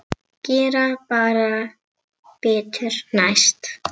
Gera bara betur næst.